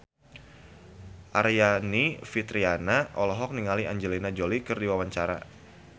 Aryani Fitriana olohok ningali Angelina Jolie keur diwawancara